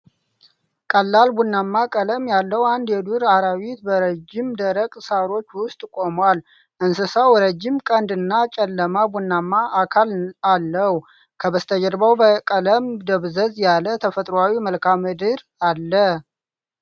ቀላል ቡናማ ቀለም ያለው አንድ የዱር አራዊት በረዥም ደረቅ ሳሮች ውስጥ ቆሟል፡፡ እንስሳው ረጅም ቀንድና ጨለማ ቡናማ አካል አለው፡፡ ከበስተጀርባው በቀለም ደብዘዝ ያለ ተፈጥሮአዊ መልክአምድር አለ፡፡